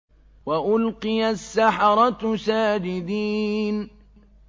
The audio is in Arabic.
وَأُلْقِيَ السَّحَرَةُ سَاجِدِينَ